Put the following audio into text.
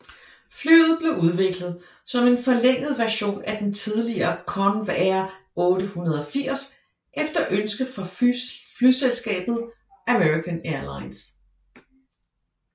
Flyet blev udviklet som en forlænget version af den tidligere Convair 880 efter ønske fra flyselskabet American Airlines